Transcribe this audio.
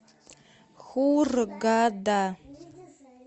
хургада